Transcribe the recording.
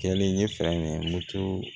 Kɛlen ye